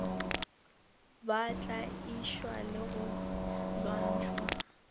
ba tlaišwa le go lwantšhwa